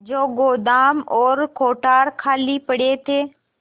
जो गोदाम और कोठार खाली पड़े थे